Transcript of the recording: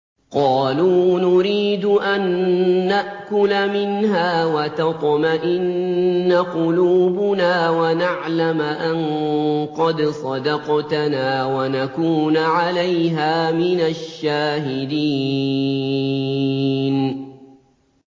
قَالُوا نُرِيدُ أَن نَّأْكُلَ مِنْهَا وَتَطْمَئِنَّ قُلُوبُنَا وَنَعْلَمَ أَن قَدْ صَدَقْتَنَا وَنَكُونَ عَلَيْهَا مِنَ الشَّاهِدِينَ